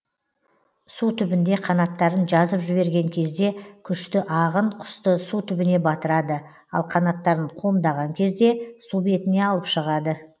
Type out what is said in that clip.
су түбінде қанаттарын жазып жіберген кезде күшті ағын құсты су түбіне батырады ал қанаттарын қомдаған кезде су бетіне алып шығады